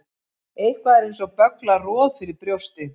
Eitthvað er eins og bögglað roð fyrir brjósti